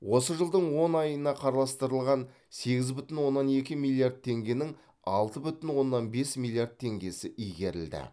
осы жылдың он айына қарастырылған сегіз бүтін оннан екі миллиард теңгенің алты бүтін оннан бес миллиард теңгесі игерілді